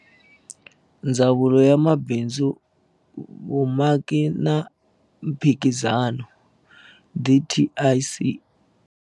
Ndzawulo ya Mabindzu, Vumaki na Mphikizano, DTIC.